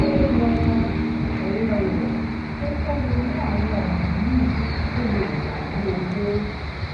ó rọ òré rè pé kó ronú àwọn ònà míì tó lè gbà rí owó